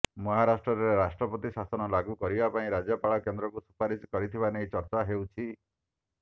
ମହାରାଷ୍ଟ୍ରରେ ରାଷ୍ଟ୍ରପତି ଶାସନ ଲାଗୁ କରିବା ପାଇଁ ରାଜ୍ୟପାଳ କେନ୍ଦ୍ରକୁ ସୁପାରିଶ କରିଥିବା ନେଇ ଚର୍ଚ୍ଚା ହେଉଛି